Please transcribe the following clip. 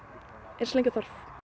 eins lengi og þarf